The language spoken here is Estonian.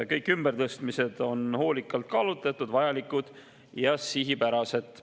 Kõik ümbertõstmised on hoolikalt kaalutletud, vajalikud ja sihipärased.